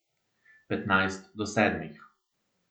Petnajst do sedmih.